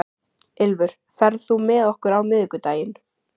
Ylfur, ferð þú með okkur á miðvikudaginn?